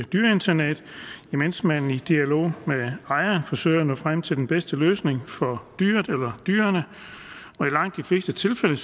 dyreinternat imens man i dialog med ejeren forsøger at nå frem til den bedste løsning for dyret eller dyrene og i langt de fleste tilfælde